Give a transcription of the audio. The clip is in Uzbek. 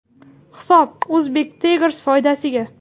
Hisob Uzbek Tigers foydasiga.